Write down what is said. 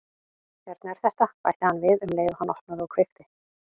Hérna er þetta- bætti hann við um leið og hann opnaði og kveikti.